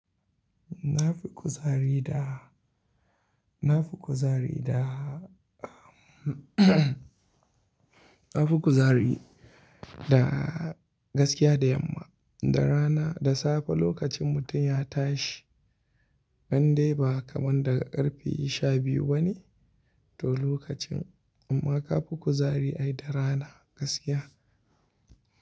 Na fi kuzari da, na fi kuzari da, na fi kuzari da gaskiya da yamma. Da rana, da safe lokacin mutum ya tashi, ban dai ba kamar daga karfe sha biyu bane to lokacin amma ka fi kuzari ai da rana gaskiya.